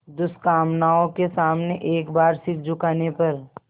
दुष्कामनाओं के सामने एक बार सिर झुकाने पर